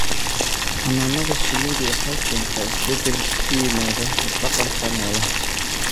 Xannaanada shinnidu waxay keentaa isbeddel ku yimaada hab-dhaqanka noolaha.